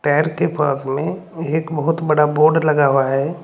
Tyre के पास में एक बहोत बड़ा बोर्ड लगा हुआ है।